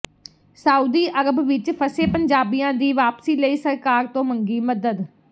Saudi Arab ਵਿਚ ਫਸੇ ਪੰਜਾਬੀਆਂ ਦੀ ਵਾਪਸੀ ਲਈ ਸਰਕਾਰ ਤੋਂ ਮੰਗੀ ਮਦਦ